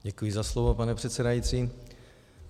Děkuji za slovo, pane předsedající.